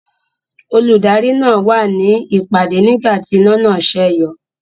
Olùdarí náà wà ní ìpàdé nígbà tí iná náà sẹ́yọ.